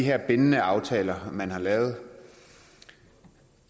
her bindende aftaler man har lavet